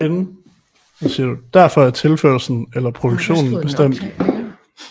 Derfor er tilførslen eller produktionen bestemt i henhold til den aktuelle efterspørgsel fra kunderne